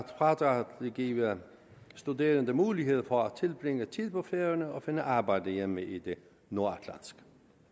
fradraget vil give studerende mulighed for at tilbringe tid på færøerne og finde arbejde hjemme i det nordatlantiske